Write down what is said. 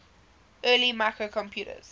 early microcomputers